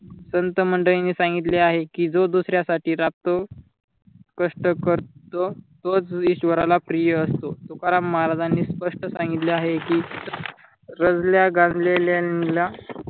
संत मंडळींनी सांगितले आहे कि जो दुसऱ्यासाठी राबतो. कष्ट करतो तोच ईश्वराला प्रिय असतो. तुकाराम महाराजांनी स्पष्ट सांगितले आहे कि रंजल्या गांजलेल्याना.